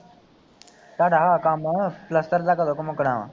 ਤੁਹਡਾ ਕੰਮ ਪਲੱਸਤਰ ਦਾ ਕਦੋਂ ਕੁ ਮੁੱਕਣਾ ਵਾ